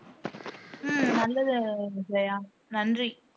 உம் நல்லது ஜெயா நன்றி